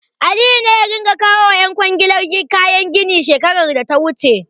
Aliyu ne ya ringa kawo wa ƴan kwangilar kayan gini shekarar da ta wuce.